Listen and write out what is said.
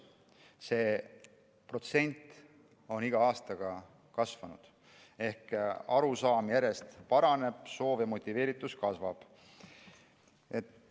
See protsent on iga aastaga kasvanud ehk arusaam järjest paraneb, soov ja motiveeritus kasvab.